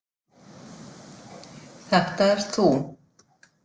Þetta ert þú!